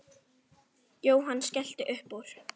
Jóhann skellti upp úr.